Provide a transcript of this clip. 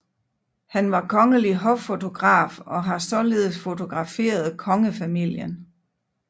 Han var kongelig hoffotograf og har således fotograferet kongefamilien